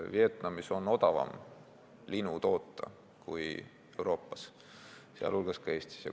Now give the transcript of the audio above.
Vietnamis on odavam linu toota kui Euroopas, sh Eestis.